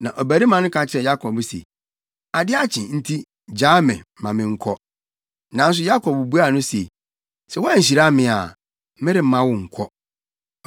Na ɔbarima no ka kyerɛɛ Yakob se, “Ade akye nti, gyaa me ma menkɔ.” Nanso Yakob buaa no se, “Sɛ woanhyira me a, meremma wo nkɔ.”